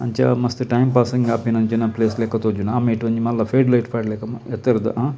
ಅಂಚ ಮಸ್ತ್ time passing ಆಪಿನಂಚಿನ ಪ್ಲೇಸ್ ಲೆಕ ತೋಜುಂಡು ಆ ಮೈಟ್ ಒಂಜಿ ಮಲ್ಲ ಫೇಡ್ ಲೈಟ್ ಪಾಡ್ಲೆಕ ಎತ್ತರದ ಹಾ--